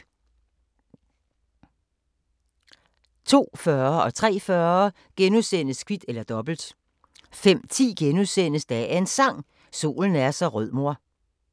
02:40: Kvit eller Dobbelt * 03:40: Kvit eller Dobbelt * 05:10: Dagens Sang: Solen er så rød mor *